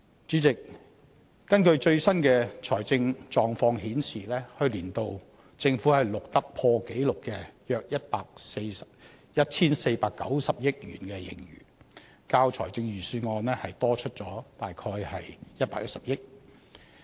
主席，最新的財政狀況顯示，去年度政府錄得破紀錄的約 1,490 億元盈餘，較預算案多出約110億元。